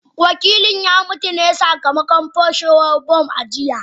Wakilin ya mutu ne sakamakon fashewar bam a jiya